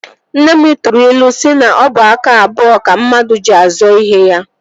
Nne m tụrụ ilu si na ọ bụ aka abụọ ka mmadụ ji azọ ihe ya